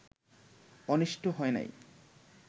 অনিষ্ট হয় নাই